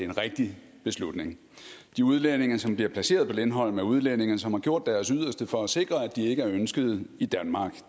og rigtig beslutning de udlændinge som bliver placeret på lindholm er udlændinge som har gjort deres yderste for at sikre at de ikke er ønsket i danmark